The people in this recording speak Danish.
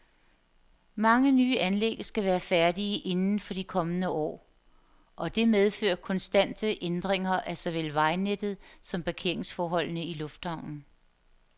Mange nye anlæg skal være færdige inden for de kommende år, og det medfører konstante ændringer af såvel vejnettet som parkeringsforholdene i lufthavnen.